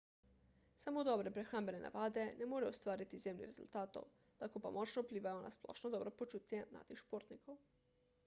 samo dobre prehrambne navade ne morejo ustvariti izjemnih rezultatov lahko pa močno vplivajo na splošno dobro počutje mladih športnikov